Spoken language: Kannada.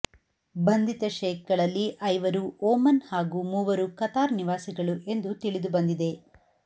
ಬಂಧಿತ ಶೇಖ್ಗಳಲ್ಲಿ ಐವರು ಒಮನ್ ಹಾಗೂ ಮೂವರು ಕತಾರ್ ನಿವಾಸಿಗಳು ಎಂದು ತಿಳಿದು ಬಂದಿದೆ